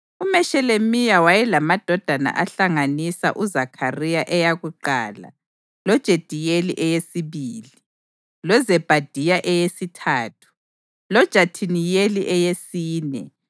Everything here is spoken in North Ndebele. UMeshelemiya wayelamadodana ahlanganisa uZakhariya eyakuqala loJediyeli eyesibili, loZebhadiya eyesithathu, loJathiniyeli eyesine,